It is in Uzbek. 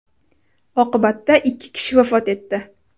Oqibatda ikki kishi vafot etdi.